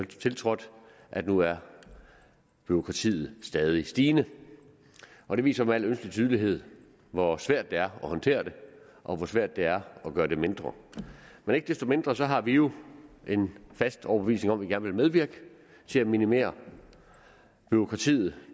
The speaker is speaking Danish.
tiltrådte at nu er bureaukratiet stadig stigende og det viser med al ønskelig tydelighed hvor svært det er at håndtere det og hvor svært det er at gøre det mindre men ikke desto mindre har vi jo en fast overbevisning om at vil medvirke til at minimere bureaukratiet